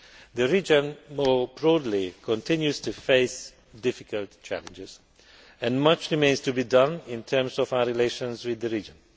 The region more broadly continues to face difficult chapters and much remains to be done in terms of our relations with the region.